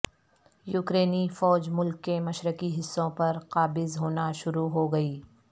یوکرینی فوج ملک کے مشرقی حصوں پر قابض ہونا شروع ہو گئی